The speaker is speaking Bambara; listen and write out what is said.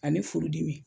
Ani furudimi